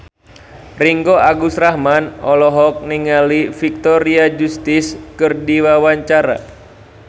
Ringgo Agus Rahman olohok ningali Victoria Justice keur diwawancara